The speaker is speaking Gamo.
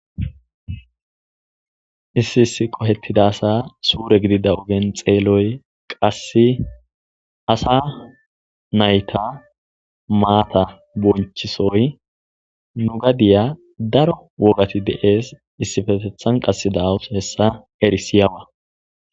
Issi issi qobetida asa sure gidida ogeni xeeloyi qasi asa nayiti mata bonichisoyi nu gadiya daro wogati deesi issippeteththani qase danayisi erisiyaba